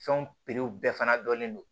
Fɛnw piriw bɛɛ fana dɔnnen don